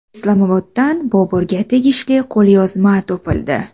Islomoboddan Boburga tegishli qo‘lyozma topildi.